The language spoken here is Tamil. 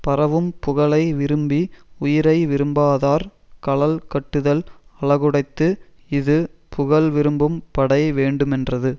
பரவும் புகழை விரும்பி உயிரை விரும்பாதார் கழல் கட்டுதல் அழகுடைத்து இது புகழ் விரும்பும் படை வேண்டுமென்றது